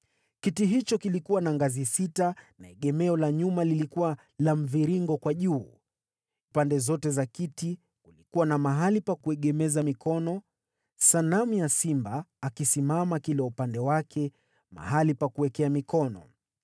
Kiti hicho kilikuwa na ngazi sita na egemeo la nyuma lilikuwa la mviringo kwa juu. Pande zote za kiti kulikuwa na mahali pa kuegemeza mikono, na simba wawili wakisimama kando ya hiyo mikono.